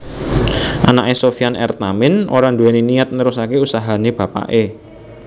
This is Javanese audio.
Anake Sofjan R Tamin ora duwéni niyat nerusake usahane bapake